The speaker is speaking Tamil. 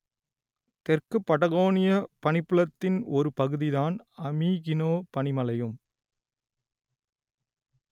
தெற்கு படகோனிய பனிப்புலத்தின் ஒரு பகுதிதான் அமீகினோ பனிமலையும்